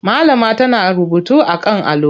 Malama tana rubutu a kan allo.